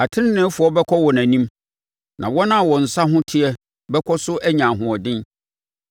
Ateneneefoɔ bɛkɔ wɔn anim, na wɔn a wɔn nsa ho teɛ bɛkɔ so anya ahoɔden.